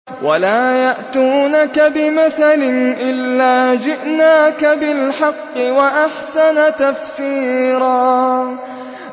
وَلَا يَأْتُونَكَ بِمَثَلٍ إِلَّا جِئْنَاكَ بِالْحَقِّ وَأَحْسَنَ تَفْسِيرًا